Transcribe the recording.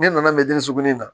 Ne nana sukurunin in na